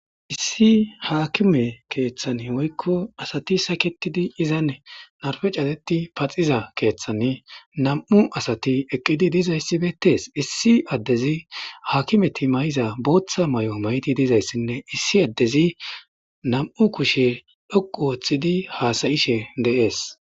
Issi haakime keeththan woykko asati saketidi izan narfe cateti paxiza keeththan nam7u asati eqqidi dizayssibetees issi addezi hakimeti may7iza booththa may7o mayti dizayssinne issi addezi nam7u kushe dhoqu wooththidi haasayishe deees